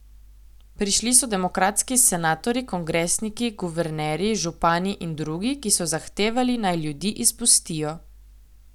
Prišli so demokratski senatorji, kongresniki, guvernerji, župani in drugi, ki so zahtevali, naj ljudi izpustijo.